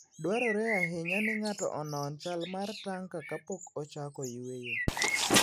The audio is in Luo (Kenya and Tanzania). Dwarore ahinya ni ng'ato onon chal mar tanka kapok ochako yweyo.